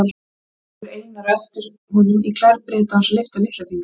Síðan horfir Einar á eftir honum í klær Breta án þess að lyfta litla fingri.